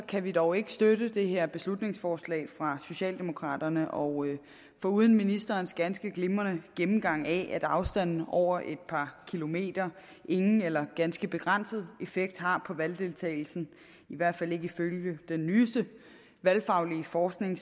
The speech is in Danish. kan vi dog ikke støtte det her beslutningsforslag fra socialdemokraterne og foruden ministerens ganske glimrende gennemgang af at afstanden over et par kilometer ingen eller ganske begrænset effekt har på valgdeltagelsen i hvert fald ifølge den nyeste valgfaglige forskning